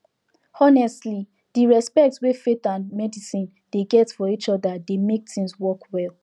honestly di respect wey both faith and medicine dey get for each other dey mek things work well